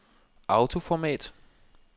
autoformat